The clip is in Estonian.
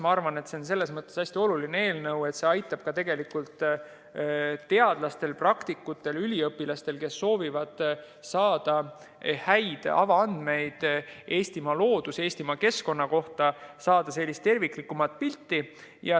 Ma arvan, et see on selles mõttes hästi oluline eelnõu, et see aitab teadlastel, praktikutel ja üliõpilastel, kes soovivad saada häid avaandmeid Eestimaa looduse ja keskkonna kohta, saada terviklikumat pilti.